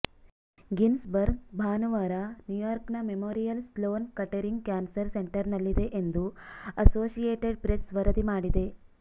Ginsburg ಭಾನುವಾರ ನ್ಯೂಯಾರ್ಕ್ನ Memorial Sloan Kettering Cancer ಸೆಂಟರ್ನಲ್ಲಿದೆ ಎಂದು ಅಸೋಸಿಯೇಟೆಡ್ ಪ್ರೆಸ್ ವರದಿ ಮಾಡಿದೆ